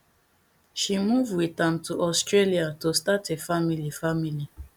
she move wit am to australia to start a family family